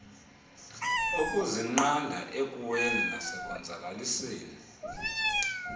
ukuzinqanda ekuweni nasekonzakaliseni